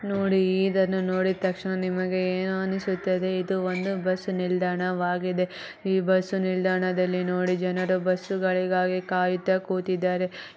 ನೋಡಿ ಇದನ್ನ ನೋಡಿದ ತಕ್ಷಣ ನಿಮಗೆ ಏನು ಅನಿಸುತದೆ ಇದು ಒಂದು ಬಸ್ಸು ನಿಲ್ದಾಣವಾಗಿದೆ ಈ ಬಸ್ಸು ನಿಲ್ದಾಣದಲ್ಲಿ ನೋಡಿ ಜನರು ಬಸ್ಸು ಗಳಿಗಾಗಿ ಕಾಯ್ತ ಕೂತಿದ್ದಾರೆ.